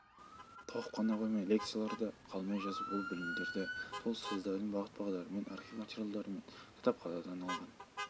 тоқып қана қоймай лекцияларды қалмай жазып ол білімдерді сол ұстаздарының бағыт-бағдарымен архив материалдарымен кітапханадан алынған